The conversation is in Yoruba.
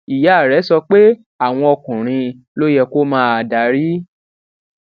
ìyá rẹ sọ pé àwọn ọkùnrin ló yẹ kó máa darí